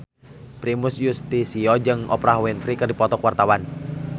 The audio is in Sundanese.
Primus Yustisio jeung Oprah Winfrey keur dipoto ku wartawan